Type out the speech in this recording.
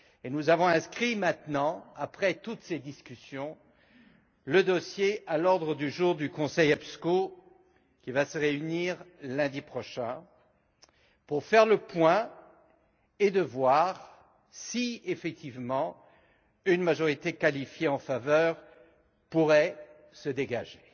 Nous avons maintenant inscrit, après toutes ces discussions, le dossier à l'ordre du jour du Conseil EPSCO, qui va se réunir lundi prochain, pour faire le point et voir si, effectivement, une majorité qualifiée en faveur de la proposition pourrait se dégager.